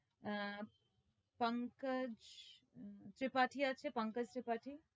আহ পঙ্কজ ত্রিপাঠি আছে পঙ্কজ ত্রিপাঠি